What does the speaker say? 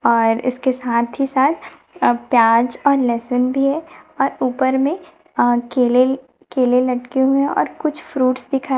और इसके साथ ही साथ अब प्याज और लहसुन भी है और ऊपर में अं केले केले लटके हुए और कुछ फ्रूट्स दिखा--